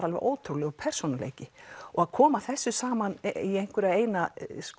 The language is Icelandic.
alveg ótrúlegur persónuleiki og að koma þessu saman í einhverja eina